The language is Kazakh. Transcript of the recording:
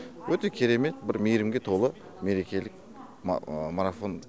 өте керемет бір мейірімге толы мерекелік марафон